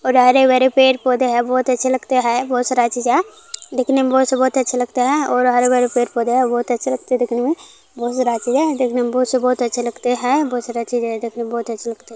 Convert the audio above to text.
और हरे-भरे पेड़-पौधे हैं बहुत अच्छे लगते हैं बहुत सारा चीज है देखने में बहुत से बहुत अच्छे लगते हैं और हरे भरे पेड़ पौधे हैं बहुत बहुत अच्छे लगते हैं देखने में बहुत सारा चीज़ है देखने में बहुत से बहुत अच्छे लगते हैं बहुत सारा चीज़ हैं. देखने में बहुत अच्छे हैं।